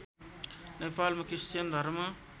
नेपालमा क्रिश्चियन धर्म